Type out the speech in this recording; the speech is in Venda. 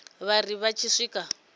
vha ri vha tshi swika